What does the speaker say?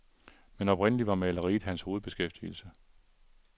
Men oprindelig var maleriet hans hovedbeskæftigelse.